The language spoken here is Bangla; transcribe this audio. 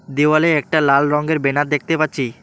দেওয়ালে একটা লাল রংয়ের ব্যানার দেখতে পাচ্ছি।